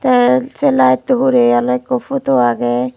teh seh light uh hureh oleh ekku photo ageh.